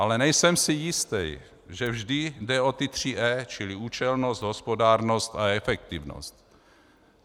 Ale nejsem si jist, že vždy jde o ta tři "E", čili účelnost, hospodárnost a efektivnost.